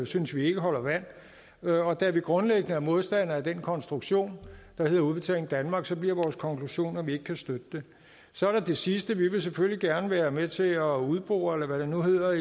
synes vi ikke holder vand og da vi grundlæggende er modstandere af den konstruktion der hedder udbetaling danmark så bliver vores konklusion at vi ikke kan støtte det så er der det sidste vi vil selvfølgelig gerne være med til at udbore eller hvad det nu hedder